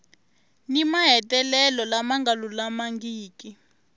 ni mahetelelo lama nga lulamangiki